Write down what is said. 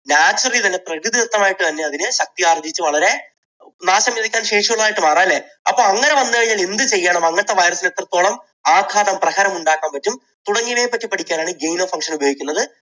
naturally തന്നെ പ്രകൃതിദത്തമായി തന്നെ അതിനെ ശക്തിയാർജിച്ച് വളരെ നാശം വിതയ്ക്കാൻ ശേഷിയുള്ള ആയിട്ടും മാറാം അല്ലേ. അപ്പോൾ അങ്ങനെ വന്നാൽ എന്ത് ചെയ്യണം? അങ്ങനത്തെ virus നെ എത്രത്തോളം ആഘാതം, പ്രഹരം ഉണ്ടാക്കാൻ പറ്റും തുടങ്ങിയവയെ പറ്റി പഠിക്കാൻ ആണ് genome function ഉപയോഗിക്കുന്നത്